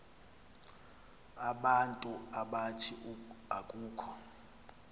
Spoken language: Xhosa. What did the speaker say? abantu abathi akukho